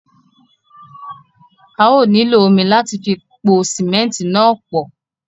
À yóò nílọ omi láti fi pọ símẹ̀ntì náà pọ̀.